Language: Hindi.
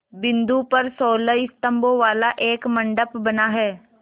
बिंदु पर सोलह स्तंभों वाला एक मंडप बना है